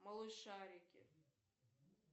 малышарики